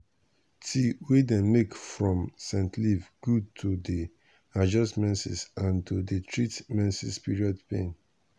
tea wey dem make from scent leaf good to dey adjust menses and to dey treat menses period pain.